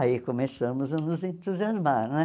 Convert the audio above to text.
Aí começamos a nos entusiasmar né.